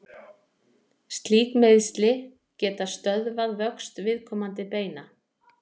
slík meiðsli geta stöðvað vöxt viðkomandi beina